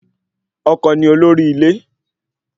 Ọkọ ni olórí ilé